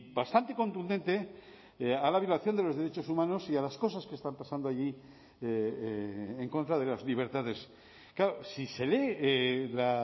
bastante contundente a la violación de los derechos humanos y a las cosas que están pasando allí en contra de las libertades claro si se lee la